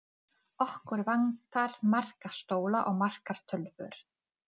Skáld er einhver sem yrkir ljóð.